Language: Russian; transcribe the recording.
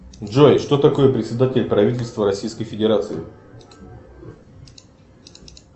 джой что такое председатель правительства российской федерации